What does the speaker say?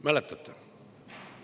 Mäletate?